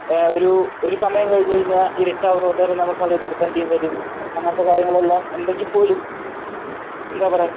എഹ് ഒരു ഒരു സമയം കഴിഞ്ഞു കഴിഞ്ഞാൽ ഇരുട്ടാവുന്നത് കൊണ്ട് തന്നെ നമുക്ക് കളി നിർത്തേണ്ടിയും വരും. അങ്ങനത്തെ കാര്യങ്ങളെല്ലാം ഉണ്ടെങ്കിൽ പോലും എന്താ പറയാ